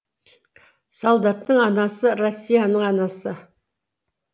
солдаттың анасы россияның анасы